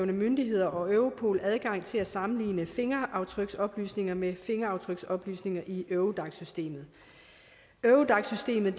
myndigheder og europol adgang til at sammenligne fingeraftryksoplysninger med fingeraftryksoplysninger i eurodac systemet eurodac systemet